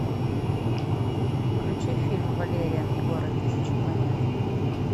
включи фильм валериан и город тысячи планет